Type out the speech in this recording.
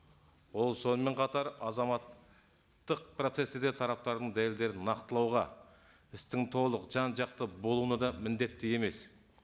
ол сонымен қатар азаматтық процессте де тараптардың дәлелдерін нақтылауға істің толық жан жақты болуына да міндетті емес